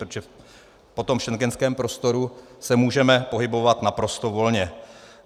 Protože po tom schengenském prostoru se můžeme pohybovat naprosto volně.